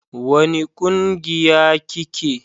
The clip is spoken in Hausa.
wani ƙungiya ki ke?